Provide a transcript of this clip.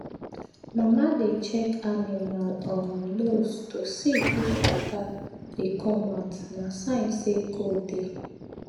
mama dey check animal um nose to see if kata dey come out na sign say cold dey